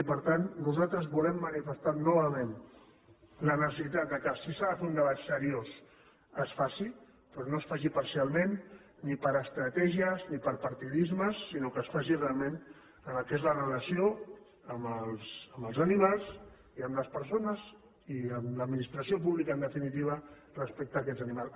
i per tant nosaltres volem manifestar novament la necessitat que si s’ha de fer un debat seriós es faci però no es faci parcialment ni per estratègies ni per partidismes sinó que es faci realment en el que és la relació amb els animals i amb les persones i amb l’administració pública en definitiva respecte a aquests animals